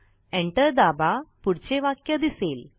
Enter दाबा पुढचे वाक्य दिसेल